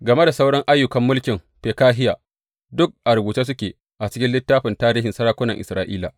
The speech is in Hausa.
Game da sauran ayyukan mulkin Fekahiya, duk a rubuce suke a cikin littafin tarihin sarakunan Isra’ila.